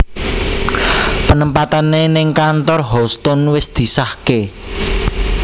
Penempatane ning kantor Houstoun wis disahke